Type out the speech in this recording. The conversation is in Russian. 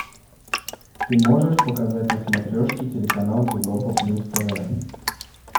ты можешь показать на смотрешке телеканал европа плюс тв